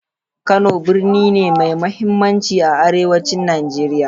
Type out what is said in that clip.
Kano birni ne mai mahimmanci a arewacin Najeriya.